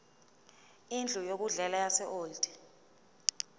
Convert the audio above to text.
indlu yokudlela yaseold